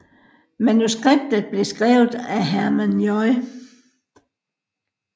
Manuskriptet blev skrevet af Herman J